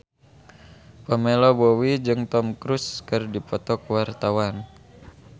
Pamela Bowie jeung Tom Cruise keur dipoto ku wartawan